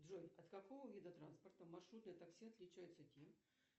джой от какого вида транспорта маршрутное такси отличается тем